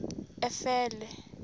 efele